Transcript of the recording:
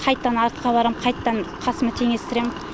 қайттан артқа барам қайттан қасыма теңестірем